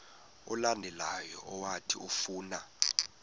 olandelayo owathi ufuna